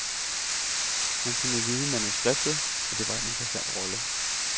Men han kunne lide manuskriptet, og det var en interessant rolle.